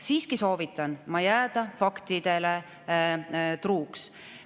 Siiski soovitan jääda faktidele truuks.